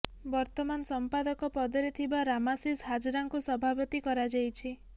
ବର୍ତ୍ତମାନ ସମ୍ପାଦକ ପଦରେ ଥିବା ରାମାଶିଷ ହାଜରାଙ୍କୁ ସଭାପତି କରାଯାଇଛି